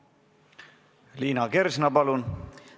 Liina Kersna, palun!